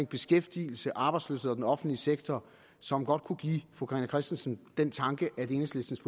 beskæftigelse arbejdsløshed og den offentlige sektor som godt kunne give fru carina christensen den tanke at enhedslistens